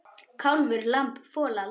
Kálfur, lamb, folald.